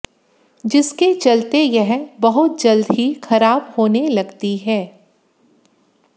जिसके चलते यह बहुत जल्द ही खराब होने लगती है